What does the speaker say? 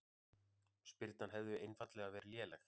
Spyrnan hefði einfaldlega verið léleg